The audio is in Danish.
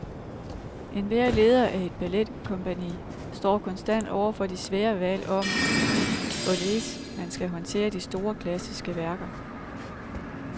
Enhver leder af et balletkompagni står konstant over for de svære valg om, hvorledes man skal håndtere de store klassiske værker.